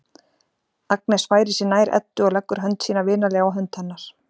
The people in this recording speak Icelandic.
Agnes færir sig nær Eddu og leggur hönd sína vinalega á hönd hennar.